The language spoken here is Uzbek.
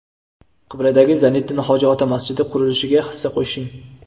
Qibraydagi "Zayniddin hoji ota" masjidi qurilishiga hissa qo‘shing!.